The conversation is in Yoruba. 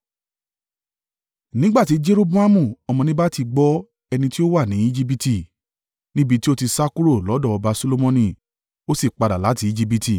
Nígbà tí Jeroboamu ọmọ Nebati gbọ́ ẹni ti ó wà ní Ejibiti, níbi tí ó ti sá kúrò lọ́dọ̀ ọba Solomoni ó sì padà láti Ejibiti.